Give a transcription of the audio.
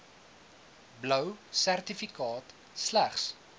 blou sertifikaat slegs